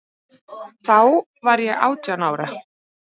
Þá var ég átján ára.